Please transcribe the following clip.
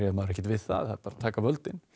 maður ekkert við það þær bara taka völdin